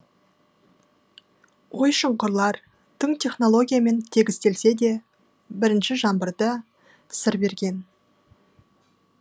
ой шұңқырлар тың технологиямен тегістелсе де бірінші жаңбырда сыр берген